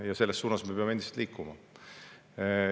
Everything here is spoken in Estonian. Ja selles suunas me peame endiselt liikuma.